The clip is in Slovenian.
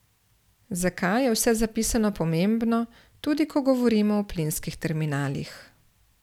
Zakaj je vse zapisano pomembno, tudi ko govorimo o plinskih terminalih?